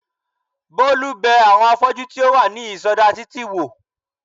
Bólú bẹ àwọn afọ́jú tí ó wà ní ìsọdá títì wò